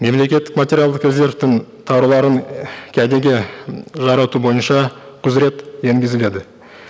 мемлекеттік материалдық резервтің тауарларын і кәдеге жарату бойынша құзырет енгізіледі